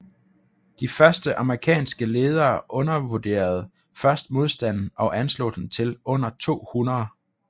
De amerikanske ledere undervurderede først modstanden og anslog den til under 200